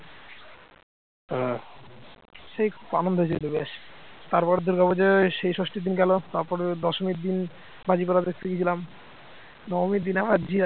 তারপর দুর্গাপূজোয় সেই ষষ্ঠীর দিন গেল তারপর দশমীর দিন বাজি পড়া দেখতে গিয়েছিলাম নববীর দিনেও